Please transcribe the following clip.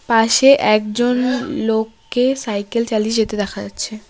পাশে একজন লোককে সাইকেল চালিয়ে যেতে দেখা যাচ্ছে।